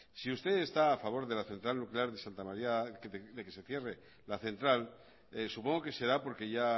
si usted está a favor de que se cierre la central nuclear de santa maría de garoña supongo que será porque ya